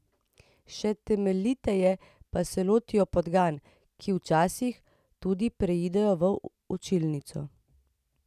Še temeljiteje pa se lotijo podgan, ki včasih tudi pridejo v učilnico.